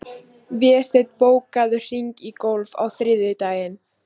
Vésteinn, bókaðu hring í golf á þriðjudaginn.